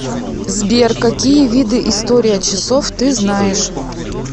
сбер какие виды история часов ты знаешь